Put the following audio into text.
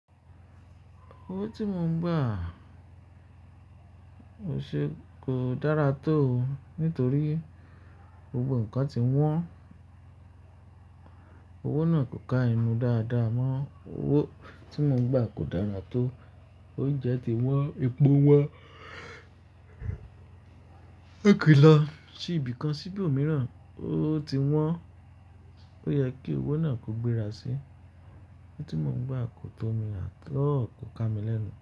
Owó tí mò ń gbà o ṣe kò dára tó nítorí gbogbo ǹnkan ti wọ́n. Owó náà kò ka enú dáadáa mọ́. Owó tí mò ń gbà kò dára tó, oúnjẹ ti wọ́n, epo wọ́n, èkìńlà sì ibìkan sì ibòmíràn, ó ti wọ́n. Ó yẹ kí owó náà kò gbéra sí. Ní tí mò ń gbà kò tó mi at all kò ka mi lẹ́nu.